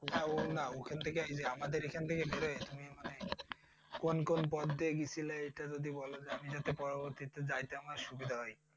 না ও না এখান থেকে এই যে আমাদের ওখান থেকে মানে কোন কোন পথ দিয়ে গেছিলে ওইটা যদি একটু বলতে। আমি যাতে পরর্বতিতে যাইতে আমার সুবিধা হয়।